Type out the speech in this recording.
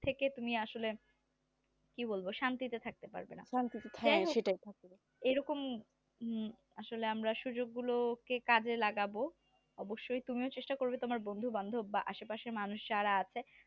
থেকে তুমি আসলে কি বলবো শান্তিতে থাকতে পারবে না হ্যাঁ এইরকম আসলে আমরা সুযোগগুলোকে কাজে লাগাব অবশ্যই তুমিও চেষ্টা করবে বন্ধু-বান্ধব বা আশে-পাশের মানুষ যারা আছে